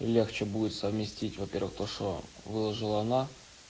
легче будет совместить во-первых то что выложила она